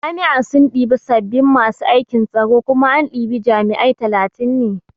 Jami'a sun ɗibi sabin masu aikin tsaro kuma an ɗibi jami'ai talatin ne